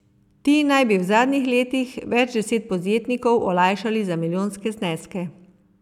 Ti naj bi v zadnjih letih več deset podjetnikov olajšali za milijonske zneske.